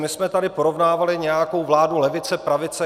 My jsme tady porovnávali nějakou vládu levice - pravice.